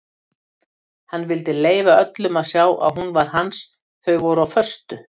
Hann vildi leyfa öllum að sjá að hún var hans þau voru á föstu.